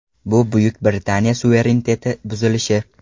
Bu Buyuk Britaniya suvereniteti buzilishi.